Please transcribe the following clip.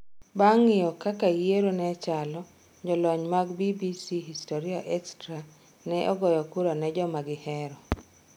Bang ng'iyo kaka yiero ne chalo, jolony mag BBC HistoryExtra ne ogoyo kura ne joma gi hero.